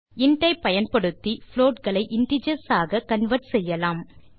int ஐ பயன்படுத்தி float களை இன்டிஜர்ஸ் ஆக கன்வெர்ட் செய்யலாம்